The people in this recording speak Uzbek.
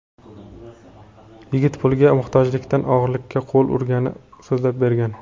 Yigit pulga muhtojligidan o‘g‘rilikka qo‘l urganini so‘zlab bergan.